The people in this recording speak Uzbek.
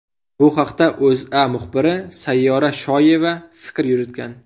Bu haqda O‘zA muxbiri Sayyora Shoyeva fikr yuritgan .